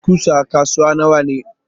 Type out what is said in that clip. kudin ƙusa a kasuwa nawane?